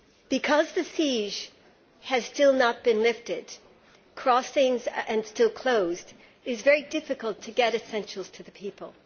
Because the siege has still not been lifted and crossings are still closed, it is very difficult to get essentials to the people.